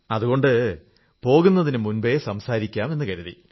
അതുകൊണ്ട് പോകുന്നതിനു മുമ്പേ സംസാരിക്കാം എന്നു കരുതി